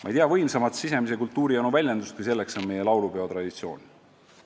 Ma ei tea võimsamat sisemise kultuurijanu väljendust, kui on meie laulupeo traditsioon.